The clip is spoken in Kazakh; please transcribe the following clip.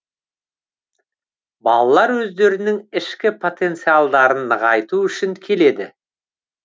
балалар өздерінің ішкі потенциалдарын нығайту үшін келеді